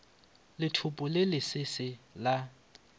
lethopo le le sese la